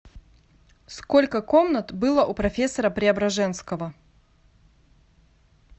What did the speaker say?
сколько комнат было у профессора преображенского